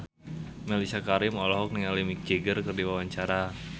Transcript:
Mellisa Karim olohok ningali Mick Jagger keur diwawancara